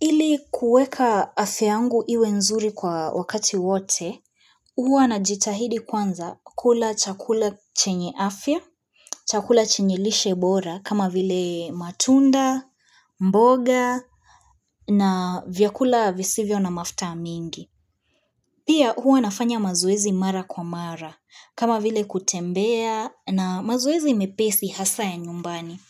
Ili kueka afya yangu iwe nzuri kwa wakati wote, huwa najitahidi kwanza kula chakula chenye afya, chakula chenye lishe bora kama vile matunda, mboga na vyakula visivyo na mafuta mingi. Pia huwa nafanya mazoezi mara kwa mara kama vile kutembea na mazoezi mepesi hasa ya nyumbani.